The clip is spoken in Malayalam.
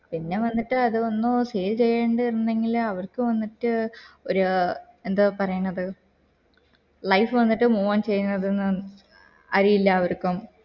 പിന്നെ വന്നിട്ട് അതോന്നു sale ചെയ്യണ്ടേ ഇരുന്നില്ല അവർക്ക് വന്നിട്ട് ഒരു എന്താ പറയുണത് life വന്നിട്ട് move on ചെയ്യുന്നത് അരിയില്ല അവർക്ക്